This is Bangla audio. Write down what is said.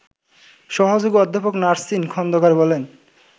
সহযোগী অধ্যাপক নাসরিন খন্দকার বলেন